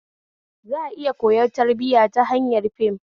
Za a iya koyar da tarbiya ta hanyar fim